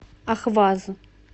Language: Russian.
ахваз